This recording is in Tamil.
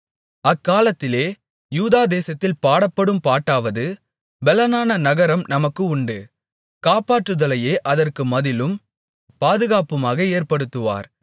அக்காலத்திலே யூதாதேசத்தில் பாடப்படும் பாட்டாவது பெலனான நகரம் நமக்கு உண்டு காப்பாற்றுதலையே அதற்கு மதிலும் பாதுகாப்புமாக ஏற்படுத்துவார்